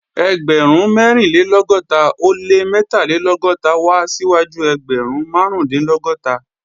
Ẹgbẹ̀rún mẹ́rìnlélọ́gọ́ta ó lé mẹ́tàlélọ́gọ́ta wá síwájú ẹgbẹ̀rún márùndínlọ́gọ́ta